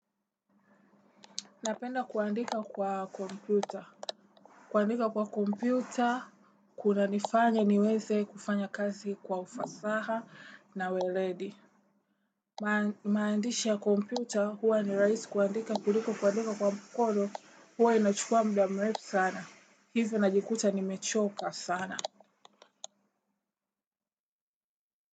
Napenda kuandika kwa kompyuta. Kuandika kwa kompyuta, kunanifanya niweze kufanya kazi kwa ufasaha na weledi. Maandishi ya kompyuta huwa ni rahisi kuandika kuliko kuandika kwa mkono huwa inachukua muda mrefu sana. Hivyo najikuta nimechoka sana.